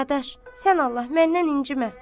Dadaş, sən Allah məndən incimə.